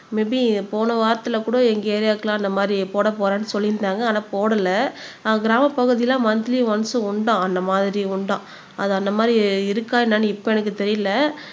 maybe போன வாரத்துல கூட எங்க ஏரியாக்கெல்லாம் அந்த மாதிரி போடப்போறேன்னு சொல்லியிருந்தாங்க ஆனா போடல அஹ் கிராமப் பகுதியில மாந்தலி ஒன்ஸ் உண்டா அந்த மாதிரி உண்டாம் அது அந்த மாதிரி இருக்கா என்னன்னு இப்ப எனக்கு தெரியலை